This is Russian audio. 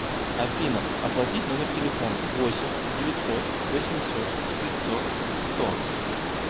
афина оплатить номер телефона восемь девятьсот восемьсот пятьсот сто